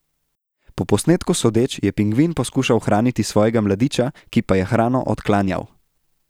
Po posnetku sodeč, je pingvin poskušal hraniti svojega mladiča, ki pa je hrano odklanjal.